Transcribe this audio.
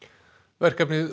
verkefni